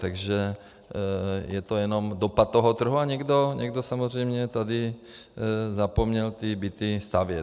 Takže je to jenom dopad toho trhu a někdo samozřejmě tady zapomněl ty byty stavět.